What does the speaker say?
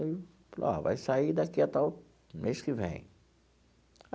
Aí falou, ó, vai sair daqui até o mês que vem.